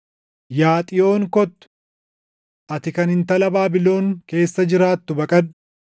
“Yaa Xiyoon kottu! Ati kan intala Baabilon keessa jiraattu baqadhu!”